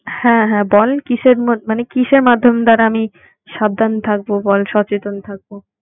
হ্যাঁ হ্যাঁ বল কিসের মধ্যে~ মানে কিসের মাধ্যম দ্বারা আমি সাবধান থাকব বল? সচেতন থাকব।